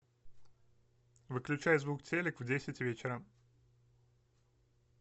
выключай звук телек в десять вечера